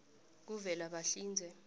kuvelabahlinze